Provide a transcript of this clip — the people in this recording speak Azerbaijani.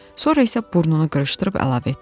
Sonra isə burnunu qırışdırıb əlavə etdi.